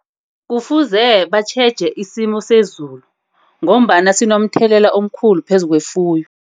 Kufuze batjheje isimo sezulu ngombana sinomthelelo omkhulu phezu kwefuyo.